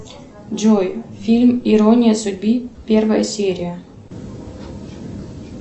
джой фильм ирония судьбы первая серия